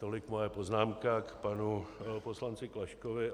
Tolik moje poznámka k panu poslanci Klaškovi.